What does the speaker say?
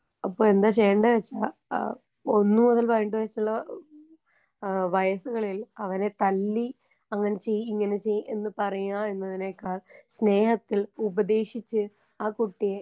അപ്പൊ എന്താ ചെയ്യണ്ടേ വെച്ചാ ആ ഒന്ന് മുതൽ പതിനെട്ട് വയസ്സ്ള്ള ആ വയസ്സുകളിൽ അവനെ തല്ലി അങ്ങനെ ചെയ്യ് ഇങ്ങനെ ചെയ്യ് എന്ന് പറയാ എന്നതിനേക്കാൾ സ്നേഹത്തിൽ ഉപദേശിച്ച് ആ കുട്ടിയേ.